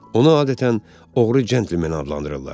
Onu adətən oğru centlmeni adlandırırlar.